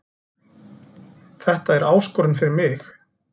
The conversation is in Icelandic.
Þetta er áskorun fyrir mig